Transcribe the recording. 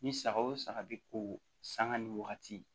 Ni saga o saga be ko sanga ni wagati